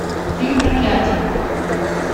фильм проклятие